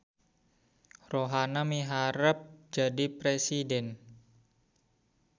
Rohana miharep jadi presiden